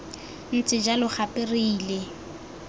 ntse jalo gape re ile